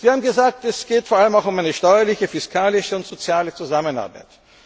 Sie haben gesagt, es geht vor allem um eine steuerliche, fiskalische und soziale Zusammenarbeit.